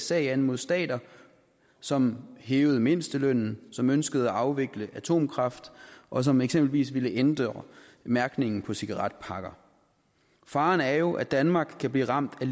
sag an mod stater som hævede mindstelønnen som ønskede at afvikle atomkraften og som eksempelvis ville ændre mærkningen på cigaretpakker faren er jo at danmark kan blive ramt af